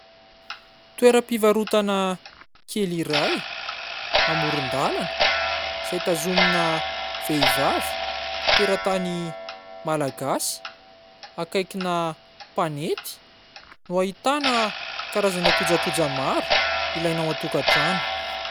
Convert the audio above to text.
Toeram-pivarotana kely iray, amoron-dalana, izay tazomina vehivavy, teratany Malagasy, akaikina mpanety, no ahitana kojakoja maro ilaina ao an-tokantrano.